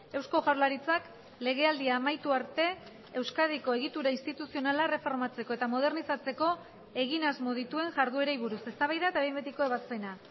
eusko jaurlaritzak legealdia amaitu arte euskadiko egitura instituzionala erreformatzeko eta modernizatzeko egin asmo dituen jarduerei buruz eztabaida eta behin betiko ebazpena